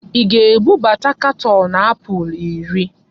Ị ga-ebubata katọọnụ apụl iri!